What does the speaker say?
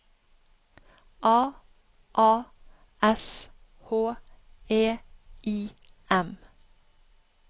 A A S H E I M